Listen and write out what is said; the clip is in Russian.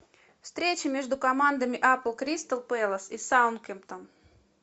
встреча между командами апл кристал пэлас и саутгемптон